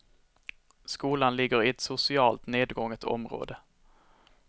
Skolan ligger i ett socialt nedgånget område.